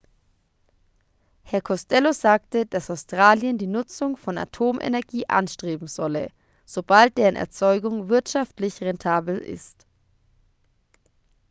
herr costello sagte dass australien die nutzung von atomenergie anstreben solle sobald deren erzeugung wirtschaftlich rentabel ist